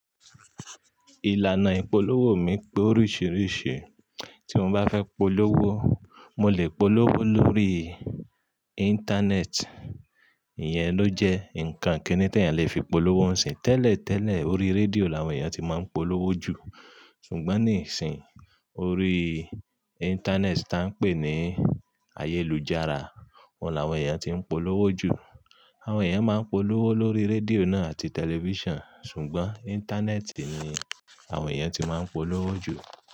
Ìlànà ìpolówó mi pé oríṣìíríṣìí, tí mo bá fẹ́ polówó, mo lè polówó lórí Íńtánẹ́ẹ̀tì, ìyẹn ló jẹ́ nǹkan kinì tí ènìyàn lè fi polówó ńsìn. Tẹ́lẹ̀tẹ́lẹ̀, orí rédíò làwọn ènìyàn tí máa ń polówó jù, ṣùgbọ́n nísìín, orí Íńtánẹ́ẹ̀tì tí à ń pè ní ayélujára, ọ́un làwọn ènìyàn tí ń polówó jù. Àwọn ènìyàn máa ń polówó lórí rédíò náà àti tẹlifíṣàn, ṣùgbọ́n Íńtánẹ́ẹ̀tì ni àwọn ènìyàn ti máa ń polówó jù.